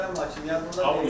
Möhtərəm hakim, yadımda deyil.